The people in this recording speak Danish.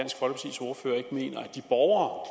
de borgere